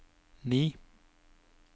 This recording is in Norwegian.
ni